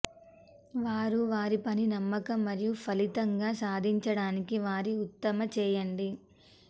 వారు వారి పని నమ్మకం మరియు ఫలితంగా సాధించడానికి వారి ఉత్తమ చేయండి